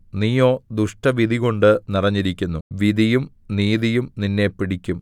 നീയോ ദുഷ്ടവിധികൊണ്ട് നിറഞ്ഞിരിക്കുന്നു വിധിയും നീതിയും നിന്നെ പിടിക്കും